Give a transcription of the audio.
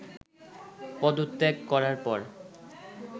পদত্যাগ করার পর